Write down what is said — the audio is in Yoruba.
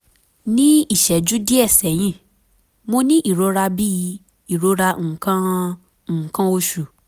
ní ìṣẹ́jú díẹ̀ sẹ́yìn mo ní ìrora bíi ìrora nǹkan nǹkan oṣù